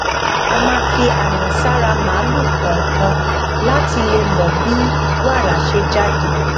a máa fi àmì sára màlúù kòòkan láti lè mọ bí wàrà ṣe jáde